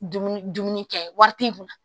Dumuni dumuni kɛ wari t'i kun na